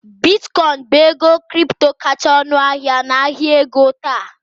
Bitcoin bụ ego kripto kacha ọnụahịa n'ahịa ego taa